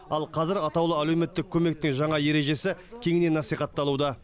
ал қазір атаулы әлеуметтік көмектің жаңа ережесі кеңінен насихатталуда